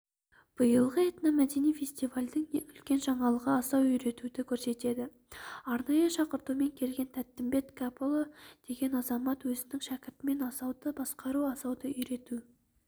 биылғы этномәдени фестивальдің ең үлкен жаңалығы асау үйретуді көрсетеді арнайы шақыртумен келген тәттімбет кәпұлы деген азамат өзінің шәкіртімен асауды басықтыру асауды үйрету